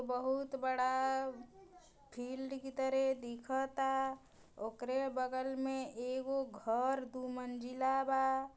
बहुत बड़ा फील्ड की तरह दिखताओकरे बगल मे एगो घर दो मंजिला बा।